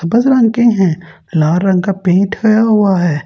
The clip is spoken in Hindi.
सफेद रंग के हैं लाल रंग का पेंट होया हुआ है।